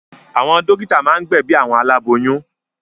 Àwọn dọ́kítá máa ń gbẹ̀bi àwọn aláboyún.